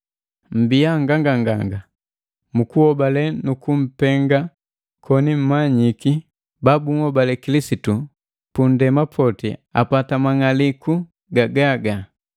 Mmbiya nganganganga mu kuhobale nu kumpenga, koni mmanyiki babunhobale Kilisitu pundema poti apata mang'aliku gagaga.